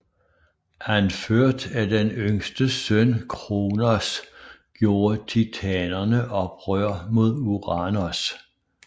Anført af den yngste søn Kronos gjorde titanerne oprør mod Uranos